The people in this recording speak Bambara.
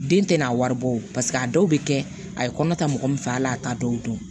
Den tɛ n'a wari bɔ paseke a dɔw bɛ kɛ a ye kɔnɔ ta mɔgɔ min fɛ al'a t'a dɔw dɔn